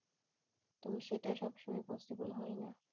তো সেটা সব সময়ে possible হয়না